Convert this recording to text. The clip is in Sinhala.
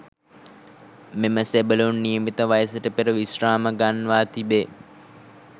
මෙම සෙබළුන් නියමිත වයසට පෙර විශ්‍රාම ගන්වා තිබේ.